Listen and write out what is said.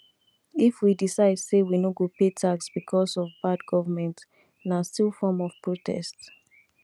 if we decide say we no go pay tax becos of bad government na still form of protest